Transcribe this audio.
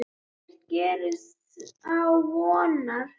Því ekkert gerist án vonar.